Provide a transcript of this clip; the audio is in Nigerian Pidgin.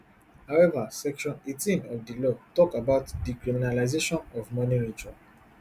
however section eighteen of di law tok about decriminalisation of money rituals